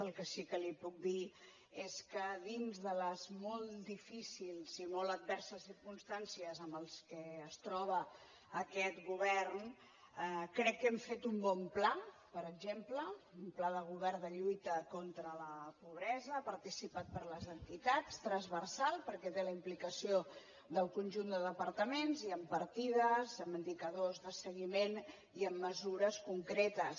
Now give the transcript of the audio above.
el que sí que li puc dir és que dins de les molt difícils i molt adverses circumstàncies amb què es troba aquest govern crec que hem fet un bon pla per exemple un pla de govern de lluita contra la pobresa participat per les entitats transversal perquè té la implicació del conjunt de departaments i amb partides amb indicadors de seguiment i amb mesures concretes